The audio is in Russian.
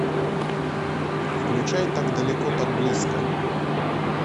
включай так далеко так близко